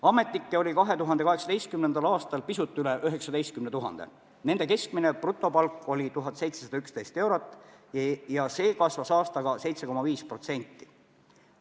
Ametnikke oli 2018. aastal pisut üle 19 000, nende keskmine brutopalk oli 1711 eurot ja see kasvas aastaga 7,5%.